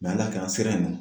Mɛ ala y'a kɛ an sera yen nɔ